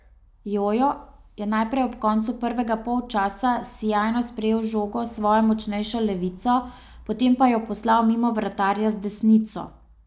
Jojo je najprej ob koncu prvega polčasa sijajno sprejel žogo s svojo močnejšo levico, potem pa jo poslal mimo vratarja z desnico.